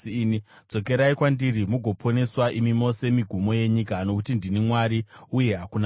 “Dzokerai kwandiri mugoponeswa, imi mose migumo yenyika; nokuti ndini Mwari, uye hakuna mumwe.